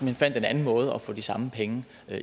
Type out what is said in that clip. hen fandt en anden måde at få de samme penge